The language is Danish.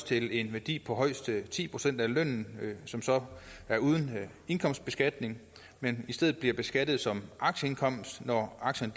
til en værdi af højst ti procent af lønnen som så er uden indkomstbeskatning men i stedet bliver beskattet som aktieindkomst når aktierne